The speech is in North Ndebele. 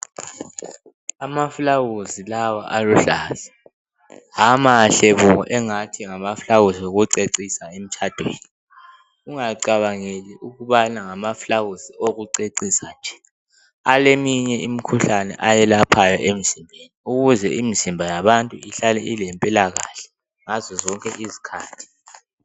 Amaflawuzi lawa aluhlaza hamahle bo engathi ngamaflawuzi wokucecisa emtshadweni ungacabangeli ukubana ngaflawuzi wokucecisa nje aleminye imikhuhlane ayelaphayo emzimbeni ukuze imizimba yabantu ihlale ilempilakahle ngazo zonke izikhathi.